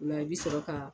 Ola i bi sɔrɔ ka